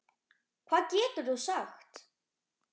Hvað getur þú sagt?